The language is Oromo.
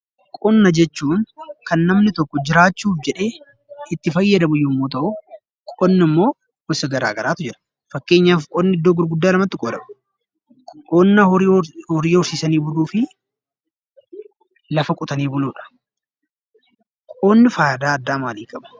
Qonnaa jechuun kan namni tokko jiraachuudhaaf jedhee itti fayyadamu yemmuu ta'u, qonni gosa garagaraaru Jira fakkeenyaaf qonni bakka lamatti qoodama innis horii horsiisuu fi lafa qotuudha.